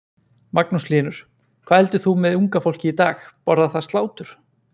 Magnús Hlynur: Hvað heldur þú með unga fólkið í dag, borðar það slátur?